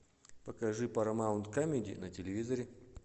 покажи парамаунт камеди на телевизоре